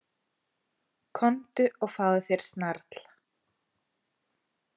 Komdu og fáðu þér snarl.